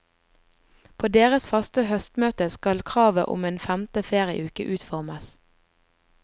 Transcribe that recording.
På deres faste høstmøte skal kravet om en femte ferieuke utformes.